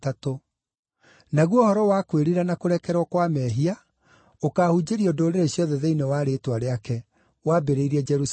naguo ũhoro wa kwĩrira na kũrekerwo kwa mehia ũkaahunjĩrio ndũrĩrĩ ciothe thĩinĩ wa rĩĩtwa rĩake, wambĩrĩirie Jerusalemu.